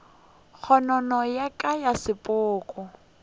kgonono ya ka ya sepoko